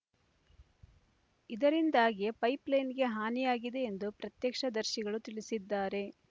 ಇದರಿಂದಾಗಿಯೇ ಪೈಪ್‌ಲೈನ್‌ಗೆ ಹಾನಿಯಾಗಿದೆ ಎಂದು ಪ್ರತ್ಯಕ್ಷದರ್ಶಿಗಳು ತಿಳಿಸಿದ್ದಾರೆ